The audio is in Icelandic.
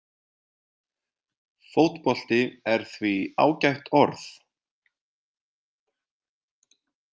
Fótbolti er því ágætt orð.